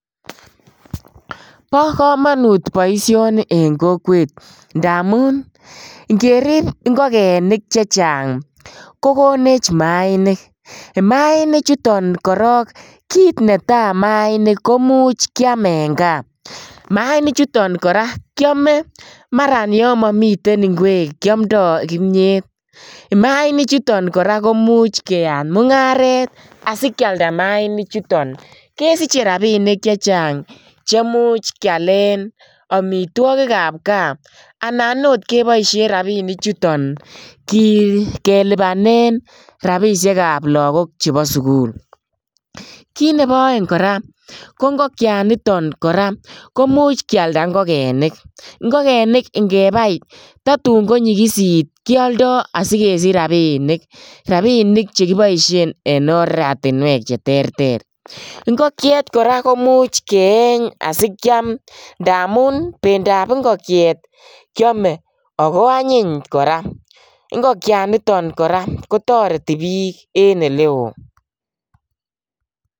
Bo kamanut boisioni eng kokwet, ndamun ngerip ngokenik che chang ko konech maainik, maanichuton korok kiit ne tai maanik komuch kiam eng gaa, maanichuton kora kiame maran yon momiten ingwek kiomdoi kimnyet, maanichuton kora komuch keyaat mungaret asi kialda maanichuton kesiche rabiinik che chang chemuch kialen amitwogikab gaa anan ot keboisien rabiinichuton kelipanen rabiisiekab lagok chebo sukul, kiit nebo aeng kora ko ngokianiton kora komuch kialda ngokenik, ngokenik ngebai tatun konyikisit kioldoi asi kesich rabiinik, rabiinik che kiboisien en oratinwek che terter, ingokiet kora komuch keeny asikiam ndamun bendab ingokiet kiome ako anyiny kora, ingokianiton kora kotoreti piik en ele oo.